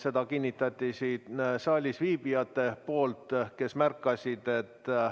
Seda kinnitasid siin saalis viibijad, kes seda märkasid.